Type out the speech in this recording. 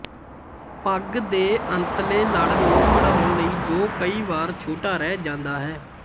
ਪੱਗ ਦੇ ਅੰਤਲੇ ਲੜ ਨੂੰ ਖੜਾਉਣ ਲਈ ਜੋ ਕਈ ਵਾਰ ਛੋਟਾ ਰਹਿ ਜਾਂਦਾ ਹੈ